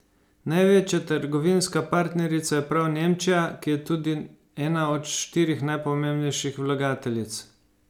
Največja trgovinska partnerica je prav Nemčija, ki je tudi ena od štirih najpomembnejših vlagateljic.